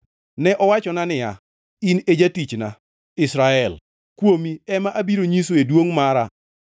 Ne owachona niya, “In e jatichna, Israel, kuomi ema abiro nyisoe duongʼ mara.”